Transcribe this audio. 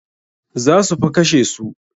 Za su fa kashe su.